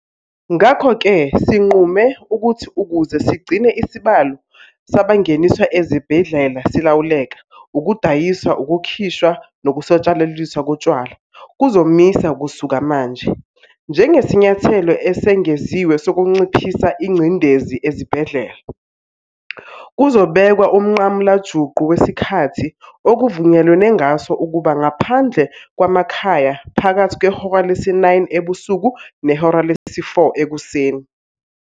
Ngakho-ke sinqume ukuthi ukuze sigcine isibalo sabangeniswa ezibhedlela silawuleka, ukudayiswa, ukukhishwa nokusatshalaliswa kotshwala kuzomiswa kusuka manje. Njengesinyathelo esengeziwe sokunciphisa ingcindezi ezibhedlela, kuzobekwa umnqamulajuqu wesikhathi okuvunyelwe ngaso ukuba ngaphandle kwamakhaya phakathi kwehora lesi-9 ebusuku nehora lesi-4 ekuseni.